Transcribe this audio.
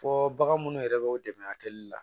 Fɔ bagan munnu yɛrɛ bɛ u dɛmɛ a kɛli la